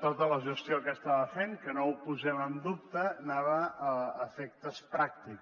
tota la gestió que estava fent que no ho posem en dubte anava a efectes pràctics